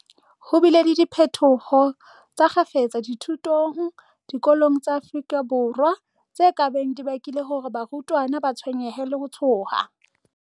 Ho bile le diphetoho tsa kgafetsa dithutong diko long tsa Afrika Borwa, tse ka beng di bakile hore barutwana ba tshwenyehe le ho tshoha.